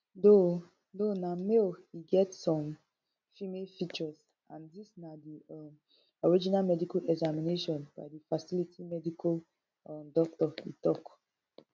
though though na male e get some female features and dis na di um original medical examination by di facility medical um doctor e tok